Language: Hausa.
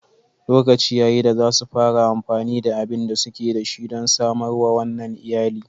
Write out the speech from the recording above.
Lokaci ya yi da za su fara amfani da abin da suke da shi don samar wa wannan iyali.